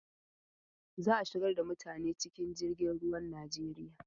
Za a shigar da mutane cikin jirgin ruwan Najeriya.